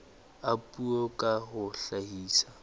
a puo ka ho hlahisa